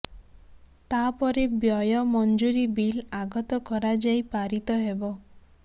ତା ପରେ ବ୍ୟୟ ମଞ୍ଜୁରୀ ବିଲ୍ ଆଗତ କରାଯାଇ ପାରିତ ହେବ